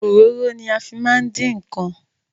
Ororo ni a fi maa n din nkan